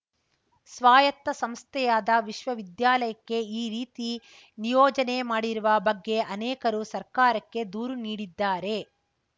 ಸ್ವಾಯತ್ತ ಸಂಸ್ಥೆಯಾದ ವಿಶ್ವವಿದ್ಯಾಲಯಕ್ಕೆ ಈ ರೀತಿ ನಿಯೋಜನೆ ಮಾಡಿರುವ ಬಗ್ಗೆ ಅನೇಕರು ಸರ್ಕಾರಕ್ಕೆ ದೂರು ನೀಡಿದ್ದಾರೆ